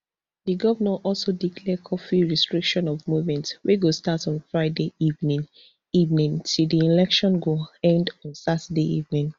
di govnor also declare curfew restriction of movement wey go start on friday evening evening till di election go end on saturday evening